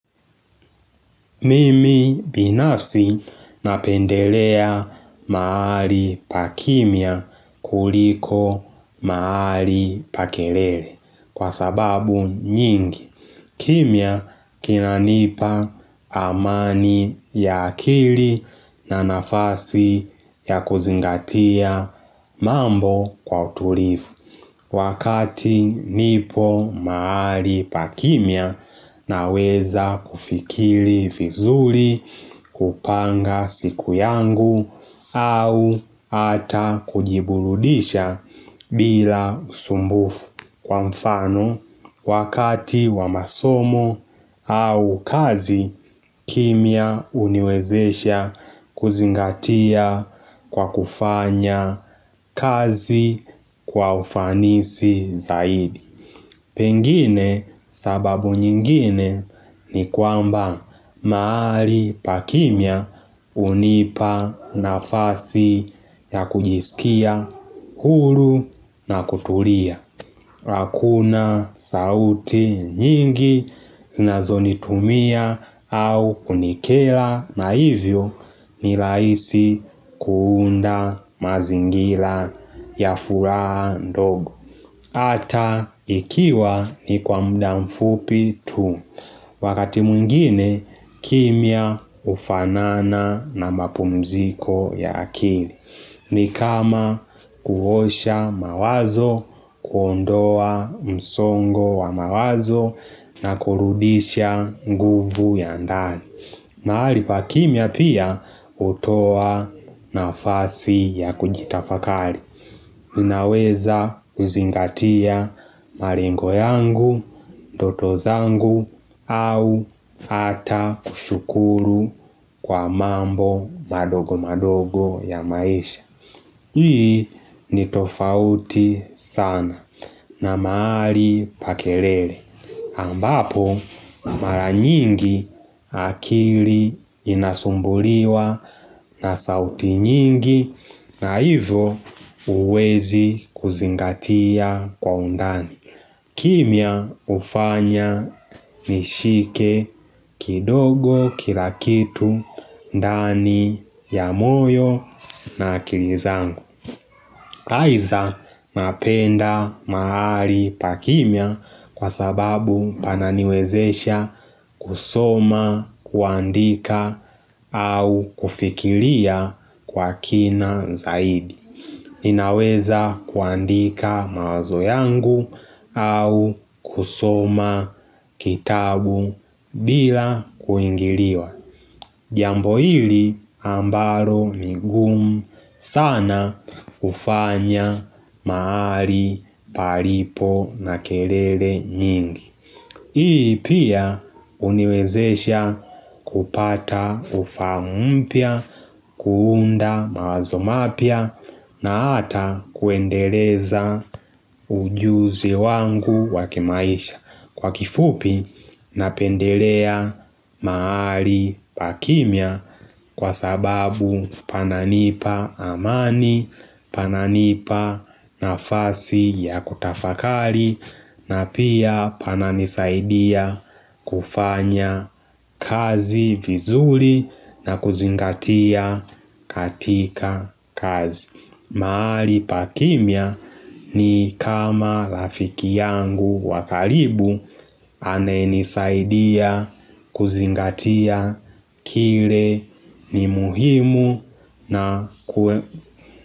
Mimi binafsi napendelea mahali pa kimya kuliko mahali pa kelele kwa sababu nyingi. Kimya kinanipa amani ya akili na nafasi ya kuzingatia mambo kwa utulivu. Wakati nipo mahali pa kimya naweza kufikiri vizuri kupanga siku yangu au hata kujiburudisha bila usumbufu kwa mfano. Wakati wa masomo au kazi kimya huniwezesha kuzingatia kwa kufanya kazi kwa ufanisi zaidi. Pengine sababu nyingine ni kwamba mahali pa kimya hunipa nafasi ya kujisikia huru na kutulia. Hakuna sauti nyingi zinazonitumia au kunikera na hivyo ni rahisi kuunda mazingira ya furaha ndogo. Hata ikiwa ni kwa muda mfupi tu. Wakati mwingine kimya hufanana na mapumziko ya akili. Ni kama kuosha mawazo, kuondoa msongo wa mawazo na kurudisha nguvu ya ndani mahali pa kimya pia hutoa nafasi ya kujitafakari Ninaweza kuzingatia malengo yangu, ndoto zangu au ata kushukuru kwa mambo madogo madogo ya maisha Hii ni tofauti sana na mahali pa kelele. Ambapo mara nyingi akili inasumbuliwa na sauti nyingi na hivo huwezi kuzingatia kwa undani. Kimya hufanya nishike kidogo kila kitu ndani ya moyo na akili zangu Aiza napenda mahali pa kimya kwa sababu pananiwezesha kusoma kuandika au kufikiria kwa kina zaidi ninaweza kuandika mawazo yangu au kusoma kitabu bila kuingiliwa Jambo hili ambalo ni ngumu sana hufanya mahali palipo na kelele nyingi Hii pia huniwezesha kupata ufahamu mpya, kuunda mawazo mapya na hata kuendeleza ujuzi wangu wa kimaisha Kwa kifupi napendelea mahali pa kimya kwa sababu pananipa amani, pananipa nafasi ya kutafakari na pia pananisaidia kufanya kazi vizuri na kuzingatia katika kazi. Mahali pa kimya ni kama rafiki yangu wa karibu anayenisaidia kuzingatia kile ni muhimu na kwe.